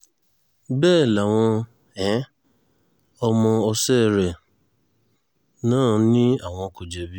bẹ́ẹ̀ làwọn um ọmọọsẹ́ rẹ̀ náà ni àwọn kò jẹ̀bi